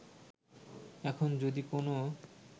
এখন যদি কোনও